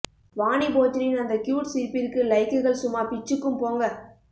வாணி போஜனின் அந்த க்யூட் சிரிப்பிற்கு லைக்குகள் சும்மா பிச்சுக்கும் போங்க